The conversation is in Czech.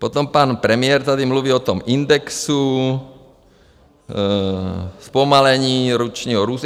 Potom pan premiér tady mluvil o tom indexu, zpomalení ročního růstu.